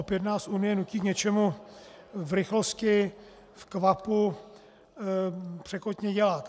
Opět nás Unie nutí k něčemu v rychlosti, v kvapu, překotně dělat.